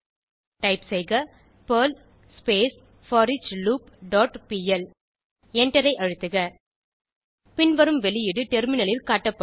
type செய்க Perl போரியாகுளூப் dot PL எண்டரை அழுத்துக பின்வரும் வெளியீடு டெர்மினலில் காட்டப்படும்